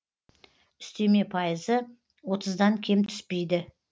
үстеме пайызы отыздан кем түспейді